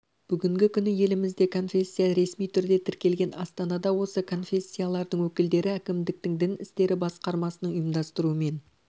бүгінгі күні елімізде конфессия ресми түрде тіркелген астанада осы конфессиялардың өкілдері әкімдіктің дін істері басқармасының ұйымдастыруымен